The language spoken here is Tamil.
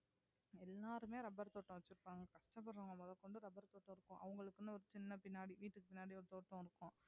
எல்லாருமே rubber தோட்டம் வெச்சிருக்காங்க வீட்டுக்கு பின்னாடி ஒரு தோட்டம் இருக்கும்